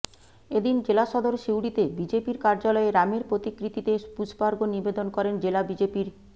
এ দিন জেলা সদর সিউড়িতে বিজেপির কার্যালয়ে রামের প্রতিকৃতিতে পুষ্পার্ঘ্য নিবেদন করেন জেলা বিজেপির